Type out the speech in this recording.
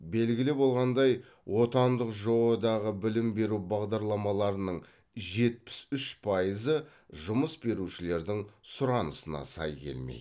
белгілі болғандай отандық жоо дағы білім беру бағдарламаларының жетпіс үш пайызы жұмыс берушілердің сұранысына сай келмейді